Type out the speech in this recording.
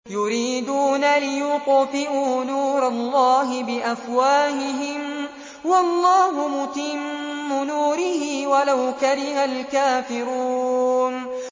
يُرِيدُونَ لِيُطْفِئُوا نُورَ اللَّهِ بِأَفْوَاهِهِمْ وَاللَّهُ مُتِمُّ نُورِهِ وَلَوْ كَرِهَ الْكَافِرُونَ